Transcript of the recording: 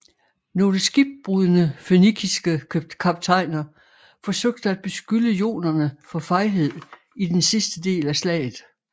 Nogle skibbrudne fønikiske kaptajner forsøge at beskylde jonerne for fejhed i den sidste del af slaget